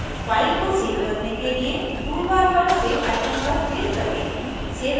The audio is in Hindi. file को सेव करने के लिए tool bar पर सेव icon पर click करें